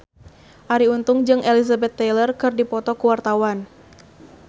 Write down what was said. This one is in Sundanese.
Arie Untung jeung Elizabeth Taylor keur dipoto ku wartawan